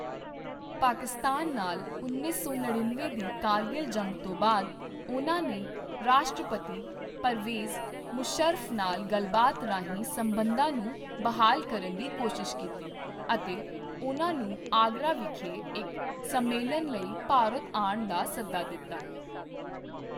ਪਾਕਿਸਤਾਨ ਨਾਲ ਉੱਨੀ ਸੌ ਨੜਿਨਵੇਂ ਦੀ ਕਾਰਗਿਲ ਜੰਗ ਤੋਂ ਬਾਅਦ ਉਨ੍ਹਾਂ ਨੇ ਰਾਸ਼ਟਰਪਤੀ ਪਰਵੇਜ਼ ਮੁਸ਼ੱਰਫ ਨਾਲ ਗੱਲਬਾਤ ਰਾਹੀਂ ਸੰਬੰਧਾਂ ਨੂੰ ਬਹਾਲ ਕਰਨ ਦੀ ਕੋਸ਼ਿਸ਼ ਕੀਤੀ ਅਤੇ ਉਨ੍ਹਾਂ ਨੂੰ ਆਗਰਾ ਵਿਖੇ ਇੱਕ ਸੰਮੇਲਨ ਲਈ ਭਾਰਤ ਆਉਣ ਦਾ ਸੱਦਾ ਦਿੱਤਾ।